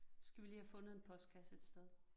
Skal vi lige have fundet en postkasse et sted